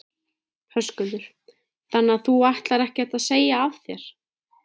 Höskuldur: Þannig að þú ætlar ekkert að segja af þér?